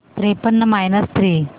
त्रेपन्न minus three